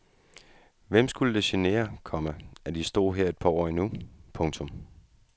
Hvem skulle det genere, komma at de stod her et par år endnu. punktum